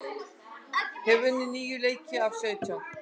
Hefur unnið níu leiki af sautján